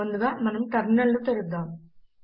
ముందుగా మనము ఒక టెర్మినల్ ను తెరుద్దం